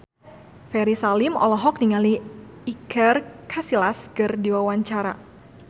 Ferry Salim olohok ningali Iker Casillas keur diwawancara